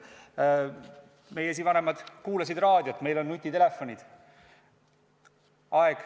Meie esivanemad kuulasid raadiot, meil on nutitelefonid.